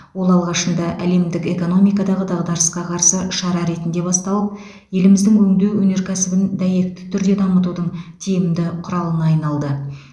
ол алғашында әлемдік экономикадағы дағдарысқа қарсы шара ретінде басталып еліміздің өңдеу өнеркәсібін дәйекті түрде дамытудың тиімді құралына айналды